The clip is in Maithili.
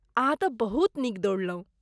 अहाँ तँ बहुत नीक दौड़लहुँ।